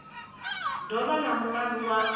do vha na mulandu wa